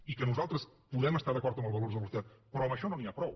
i que nosaltres podem estar d’acord amb el valor de l’austeritat però amb això no n’hi ha prou